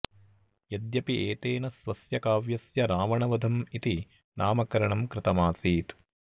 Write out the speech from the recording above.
यद्यपि एतेन स्वस्य काव्यस्य रावणवधम् इति नामकरणम् कृतमासीत